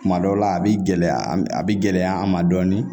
Kuma dɔw la a bi gɛlɛya a bi gɛlɛya an ma dɔɔnin